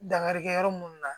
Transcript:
Dankarikɛ yɔrɔ minnu na